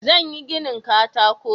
Zan yi ginin katako.